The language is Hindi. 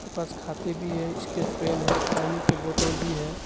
बस खाते भी है इसकेज पेन है पानी की बोतल भी है।